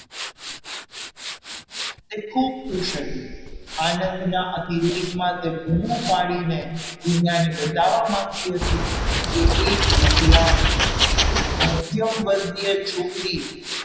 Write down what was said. તે ખૂબ ખુશ હતી આનંદના અતિરેકમાં તે બૂમો પાડીને દુનિયાને બતાવવા માંગતી હતી કે એક વિકલાંગ, એક મધ્યમ વર્ગીય છોકરી,